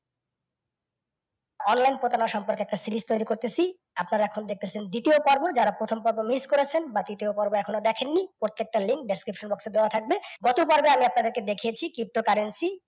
online সম্পর্কে একটা series তইরি করতেছি, আপনারা এখন দেখতেছেন দ্বিতীয় পর্ব । জারা প্রথম পর্ব miss করেছেন বা তৃতীয় পর্ব এখনো দেখেন নি প্রত্যেকটা link description এ দেওয়া থাকবে। গত পরবে আমি আপনাদেরকে দেখিয়াছি pto currency